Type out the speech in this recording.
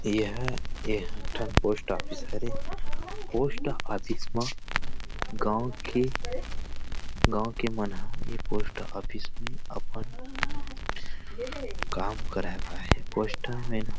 यह एकठन post office हरे पोस्ट ऑफिस म गावं के गावं के मन ह ये पोस्ट ऑफिस में अपन काम कराए बर आए हे पोस्ट मैन